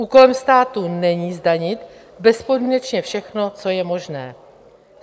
Úkolem státu není zdanit bezpodmínečně všechno, co je možné.